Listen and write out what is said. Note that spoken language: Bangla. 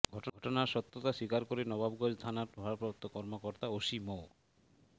ঘটনার সত্যতা স্বীকার করে নবাবগঞ্জ থানার ভারপ্রাপ্ত কর্মকর্তা ওসি মো